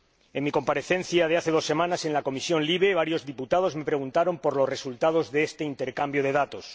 En mi comparecencia de hace dos semanas en la Comisión LIBE, varios diputados me preguntaron por los resultados de este intercambio de datos.